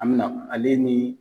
An mi na ale ni